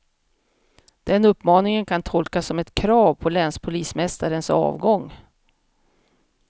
Den uppmaningen kan tolkas som ett krav på länspolismästarens avgång.